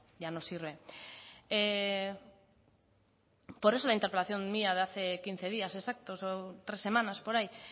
ya no sirve por eso la interpelación mía de hace quince días exactos o tres semanas por ahí